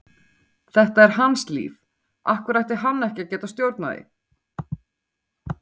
Þetta er hans líf, af hverju ætti hann ekki að geta stjórnað því?